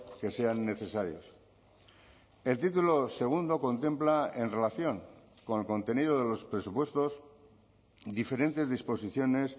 legislativos que sean el título segundo contempla en relación con el contenido de los presupuestos diferentes disposiciones